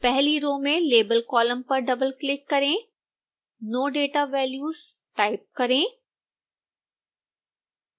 पहली रो में label column पर डबलक्लिक करें no data values टाइप करें